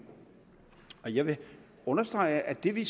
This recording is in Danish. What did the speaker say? jeg vil understrege at det vi